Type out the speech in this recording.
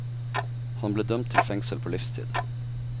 Han ble dømt til fengsel på livstid.